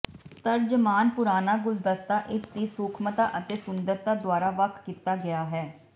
ਤਰਜਮਾਨ ਪੁਰਾਨਾ ਗੁਲਦਸਤਾ ਇਸਦੀ ਸੂਖਮਤਾ ਅਤੇ ਸੁੰਦਰਤਾ ਦੁਆਰਾ ਵੱਖ ਕੀਤਾ ਗਿਆ ਹੈ